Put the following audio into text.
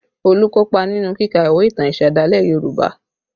Olu kopa nínú kíka ìwé ìtàn ìsẹ̀dálẹ̀ Yoruba